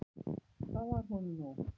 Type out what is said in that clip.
Það var honum nóg.